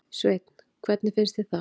Sveinn: Hvernig finnst þér það?